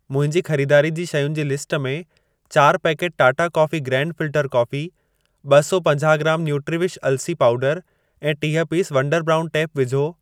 मुंहिंजी खरीदारी जी शयुनि जी लिस्ट में चारि packet Tata coffee grand filter coffee, ॿ सौ पंजाह ग्रामु न्यूट्रिविश अलसी पाऊडरु ऐं टीह पीस वंडर ब्राउन टेप विझो।